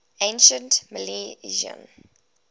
ancient milesians